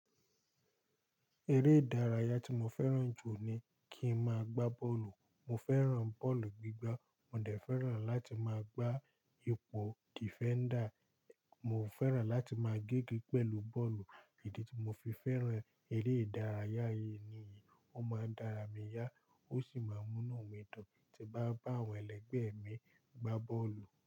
Eré ìdárayá tí mo fẹ́ràn jù ni kí n máa gbá bọ́ọ̀lù. Mo fẹ́ràn bọ́ọ̀lù gbígbá, mo dẹ̀ fẹ́ràn láti máa gbá ipò defender. Mo fẹ́ràn láti máa gégé pẹ̀lú bọ́ọ̀lù. Idi tí mo fi fẹ́ràn eré ìdárayá yìí ni, ó máa ń dára mi yá ó sì máa ń mú nu mi dun tí bá bá àwọn ẹlẹgbẹ́ mi gbá bọ́ọ̀lù.